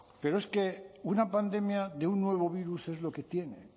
pero es que una pandemia de un nuevo virus es lo que tiene